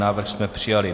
Návrh byl přijat.